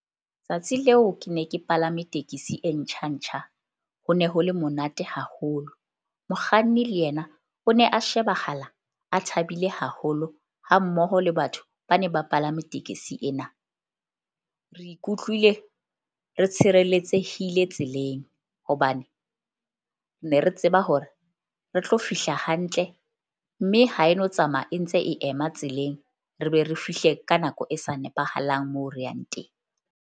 Tsatsi leo ke ne ke palame tekesi e ntjha ntjha ho ne ho le monate haholo. Mokganni le yena o ne a shebahala a thabile haholo ha mmoho le batho ba ne ba palame tekesi ena. Re ikutlwile re tshireletsehile tseleng hobane ne re tseba hore re tlo fihla hantle mme ha e no tsamaya e ntse e ema tseleng, re be re fihle ka nako e sa nepahalang moo re yang teng.